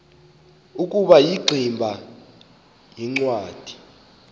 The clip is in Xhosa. ukuba ingximba yincwadi